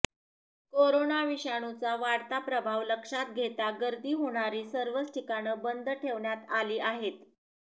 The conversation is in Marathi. कोरोना विषाणूचा वाढता प्रभाव लक्षात घेता गर्दी होणारी सर्वच ठिकाणं बंद ठेवण्यात आली आहेत